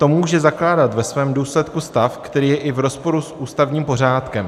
To může zakládat ve svém důsledku stav, který je i v rozporu s ústavním pořádkem.